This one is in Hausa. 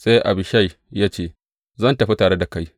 Sai Abishai ya ce, Zan tafi tare da kai.